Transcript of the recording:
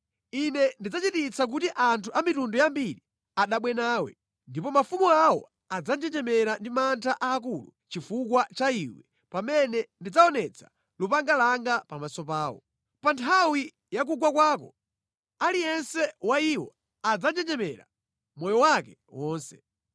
Ine ndidzachititsa kuti anthu a mitundu yambiri adabwe nawe, ndipo mafumu awo adzanjenjemera ndi mantha aakulu chifukwa cha iwe pamene ndidzaonetsa lupanga langa pamaso pawo. Pa nthawi ya kugwa kwako, aliyense wa iwo adzanjenjemera moyo wake wonse.